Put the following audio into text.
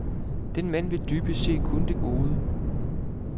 Den mand vil dybest set kun det gode.